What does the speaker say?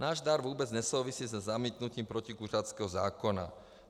Náš dar vůbec nesouvisí se zamítnutím protikuřáckého zákona.